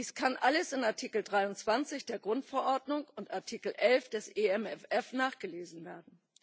Dies kann alles in Artikel 23 der Grundverordnung und Artikel 11 des EMFF nachgelesen werden.